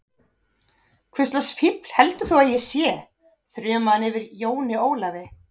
Hvurslags fífl heldur þú að ég sé, þrumaði hann yfir Jóni Ólafi.